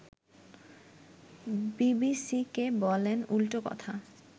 বিবিসিকে বলেন উল্টো কথা